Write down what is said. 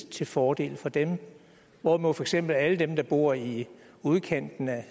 til fordel for dem hvorimod for eksempel alle dem der bor i udkanten af